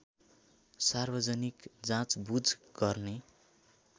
सार्वजनिक जाँचबुझ गर्ने